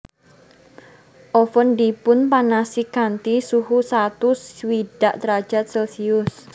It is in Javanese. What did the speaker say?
Oven dipun panasi kanthi suhu satus swidak drajat celcius